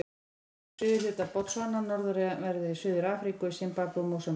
Finnst í suðurhluta Botsvana, norðanverðri Suður-Afríku og í Simbabve og Mósambík.